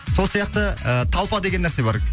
сол сияқты ы толпа деген нәрсе бар